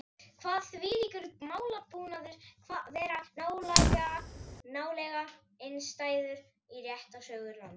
Kvað þvílíkur málatilbúnaður vera nálega einstæður í réttarsögu landsins.